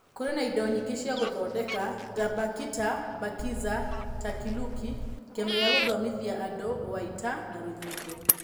Kũrĩ na indo nyingĩ cia gũthondeka, ta Bakita, Bakiza, Takiluki, kĩama gĩa gũthomithia andũ, Uwaita, na rũthingo.